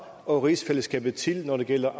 og rigsfællesskabet til når det gælder